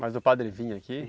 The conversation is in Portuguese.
Mas o padre vinha aqui?